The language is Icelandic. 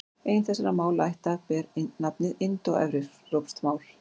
Ein þessara málaætta ber nafnið indóevrópsk mál.